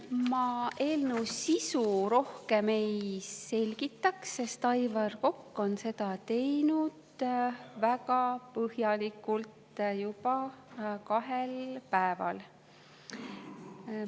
Ma eelnõu sisu rohkem ei selgita, sest Aivar Kokk on seda teinud väga põhjalikult juba kahel päeval.